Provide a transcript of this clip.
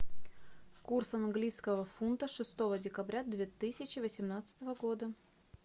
курс английского фунта шестого декабря две тысячи восемнадцатого года